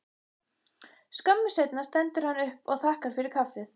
Skömmu seinna stendur hann upp og þakkar fyrir kaffið.